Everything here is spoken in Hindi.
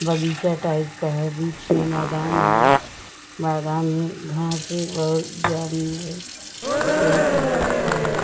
बगीचा टाइप का है बीच में मैदान है। मैदान में घास भी बहोत जादा है। येही सब दिख रहा है ।